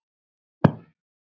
Faðmaðu afa frá mér.